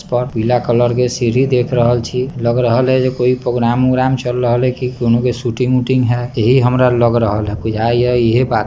पर पीला कलर के सीढ़ी देख रहल छी लग रहल ये की कोई प्रोग्राम -उग्राम चल रहले ये की कोनो के शूटिंग -उटिंग हई ये ही हमरा लग रहल हई बुझाय ये इहे बात --